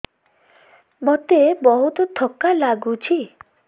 ମୋତେ ବହୁତ୍ ଥକା ଲାଗୁଛି